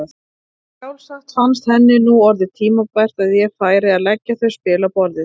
Sjálfsagt fannst henni nú orðið tímabært að ég færi að leggja þau spil á borðið!